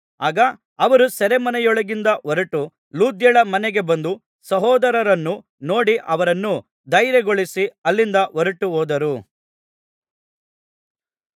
ಆಗ ಅವರು ಸೆರೆಮನೆಯೊಳಗಿಂದ ಹೊರಟು ಲುದ್ಯಳ ಮನೆಗೆ ಬಂದು ಸಹೋದರರನ್ನು ನೋಡಿ ಅವರನ್ನು ಧೈರ್ಯಗೊಳಿಸಿ ಅಲ್ಲಿಂದ ಹೊರಟುಹೋದರು